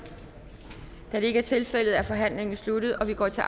da det ikke er tilfældet er forhandlingen sluttet og vi går til